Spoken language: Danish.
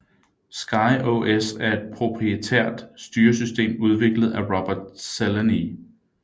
SkyOS er et proprietært styresystem udviklet af Robert Szeleney